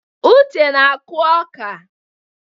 Uche na-akụ ọka.